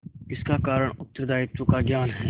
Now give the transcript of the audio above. इसका कारण उत्तरदायित्व का ज्ञान है